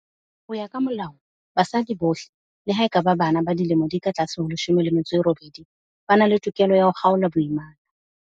Ho ya ka Molao, basadi bohle, le ha e ka ba bana ba dilemo di ka tlase ho 18, ba na le tokelo ya ho kgaola boimana.